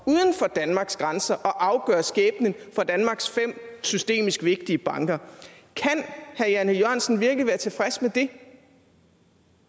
danmarks grænser at afgøre skæbnen for danmarks fem systemisk vigtige banker kan herre jan e jørgensen virkelig være tilfreds med det